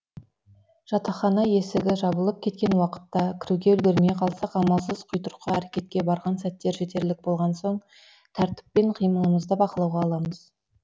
жатақхана есігі жабылып кеткен уақытта кіруге үлгермей қалсақ амалсыз құйтырқы әрекетке барған сәттер жетерлік болған соң тәртіппен қимылымызды бақылауға аламыз